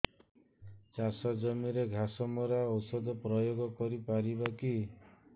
ଚାଷ ଜମିରେ ଘାସ ମରା ଔଷଧ ପ୍ରୟୋଗ କରି ପାରିବା କି